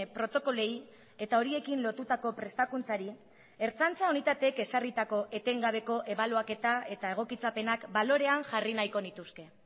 protokoloei eta horiekin lotutako prestakuntzari ertzaintza unitateek ezarritako etengabeko ebaluaketa eta egokitzapenak balorean jarri nahiko nituzke